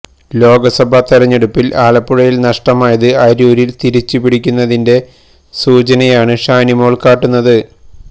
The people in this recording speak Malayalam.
ലോക്സഭാ തെരഞ്ഞെടുപ്പില് ആലപ്പുഴയില് നഷ്ടമായത് അരൂരില് തിരിച്ചു പിടിക്കുന്നതിന്റെ സൂചനയാണ് ഷാനിമോള് കാട്ടുന്നത്